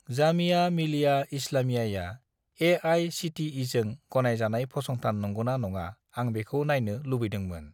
जामिया मिलिया इस्लामियाया ए.आइ.सि.टि.इ.जों गनायजानाय फसंथान नंगौना नङा आं बेखौ नायनो लुबैदोंमोन।